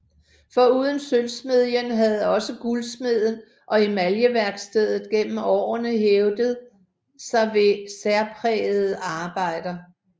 Foruden sølvsmedien havde også guldsmedien og emaljeværkstedet gennem årene hævdet sig ved særprægede arbejder